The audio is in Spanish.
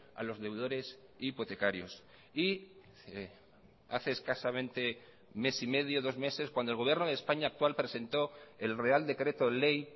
a los deudores hipotecarios y hace escasamente mes y medio o dos meses cuando el gobierno de españa actual presentó el real decreto ley